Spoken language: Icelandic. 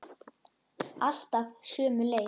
Alltaf sömu leið.